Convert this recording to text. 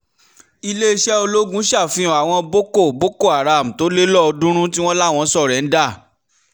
iléeṣẹ́ ológun ṣàfihàn àwọn boko boko haram tó le lọ́ọ̀ọ́dúnrún tí wọ́n láwọn só̩ré̩ńdà